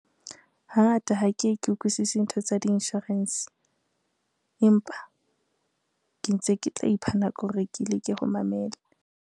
Hangata ha ke ye ke utlwisisi ntho tsa di-insurance, empa ke ntse ke tla ipha nako hore ke leke ho mamela.